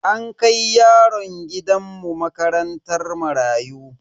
An kai yaron gidan mu makarantar marayu.